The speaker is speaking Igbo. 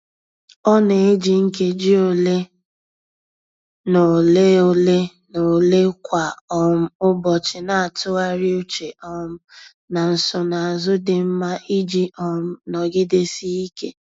Ọ na-eji nkeji ole na ole ole na ole kwa um ụbọchị na-atụgharị uche um na nsonazụ dị mma iji um nọgidesike.